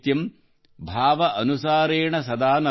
ಭಾವ ಅನುಸಾರೇಣ ಸದಾ ನರಾಣಾಂ